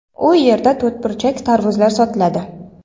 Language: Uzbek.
U yerda to‘rtburchak tarvuzlar sotiladi.